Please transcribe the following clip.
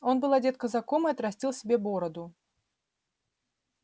он был одет казаком и отрастил себе бороду